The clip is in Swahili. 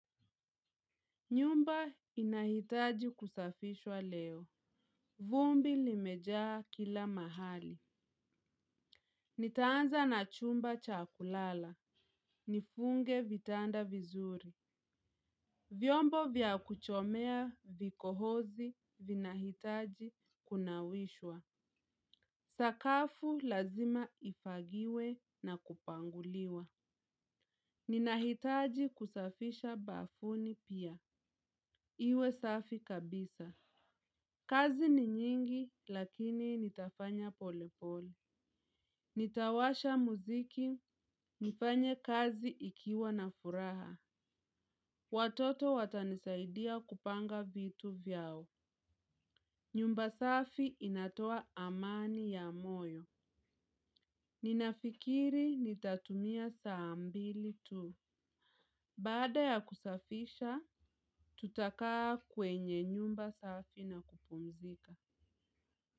Nyumba inahitaji kusafishwa leo. Vumbi limejaa kila mahali. Nitaanza na chumba cha kulala. Nifunge vitanda vizuri. Vyombo vya kuchomea vikohozi vina hitaji kunawishwa. Sakafu lazima ifagiwe na kupanguliwa. Ninahitaji kusafisha bafuni pia. Iwe safi kabisa. Kazi ni nyingi lakini nitafanya polepole. Nitawasha muziki, nifanye kazi ikiwa na furaha. Watoto watanisaidia kupanga vitu vyao. Nyumba safi inatoa amani ya moyo. Ninafikiri nitatumia saa mbili tu. Baada ya kusafisha, tutakaa kwenye nyumba safi na kupumzika.